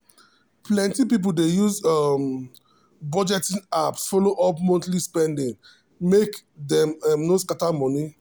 plenty people dey use um budgeting apps follow up monthly spending make dem um no scatter money.